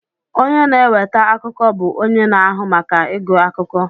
Onye na-eweta akụkọ bụ onye na-ahụ maka ịgụ akụkọ